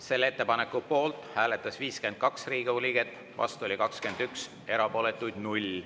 Selle ettepaneku poolt hääletas 52 Riigikogu liiget, vastu 21, erapooletuid oli 0.